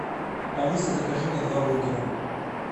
алиса закажи мне два бургера